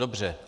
Dobře.